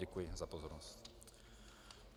Děkuji za pozornost.